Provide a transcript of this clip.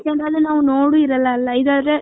ನೋಡು ಇರಲ್ಲ ಅಲ್ಲ ಇದ ಆದ್ರೆ.